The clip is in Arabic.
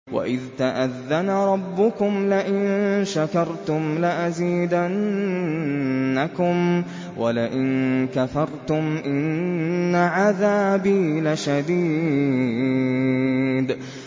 وَإِذْ تَأَذَّنَ رَبُّكُمْ لَئِن شَكَرْتُمْ لَأَزِيدَنَّكُمْ ۖ وَلَئِن كَفَرْتُمْ إِنَّ عَذَابِي لَشَدِيدٌ